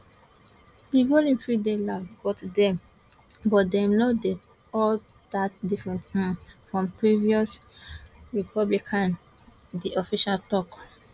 di volume fit dey loud but dem but dem no dey all dat different um from previous republicans di official tok